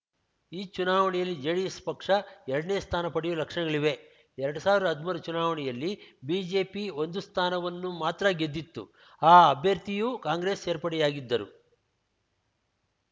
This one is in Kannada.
ಈ ಚುನಾವಣೆಯಲ್ಲಿ ಜೆಡಿಎಸ್‌ ಪಕ್ಷ ಎರಡನೇ ಸ್ಥಾನ ಪಡೆಯುವ ಲಕ್ಷಣಗಳಿವೆ ಎರಡ್ ಸಾವಿರ್ದಾ ಹದ್ಮೂರರ ಚುನಾವಣೆಯಲ್ಲಿ ಬಿಜೆಪಿ ಒಂದು ಸ್ಥಾನವನ್ನು ಮಾತ್ರ ಗೆದ್ದಿತ್ತು ಆ ಅಭ್ಯರ್ಥಿಯೂ ಕಾಂಗ್ರೆಸ್‌ ಸೇರ್ಪಡೆಯಾಗಿದ್ದರು